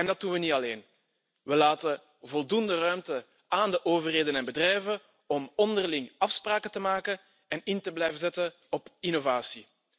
En dat doen we niet alleen. We laten voldoende ruimte aan de overheden en bedrijven om onderling afspraken te maken en in te blijven zetten op innovatie.